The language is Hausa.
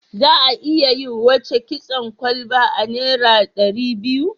Za a iya yi wace kitson kalba a naira ɗari biyu.